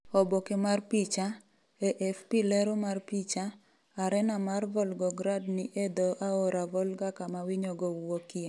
Oboke mar picha, AFP Lero mar picha, Arena mar Volgograd ni e dho aora Volga kama winyogo wuokie.